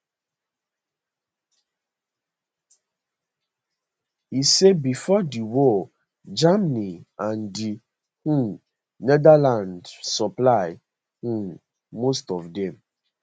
e say bifor di war germany and di um netherlands supply um most of dem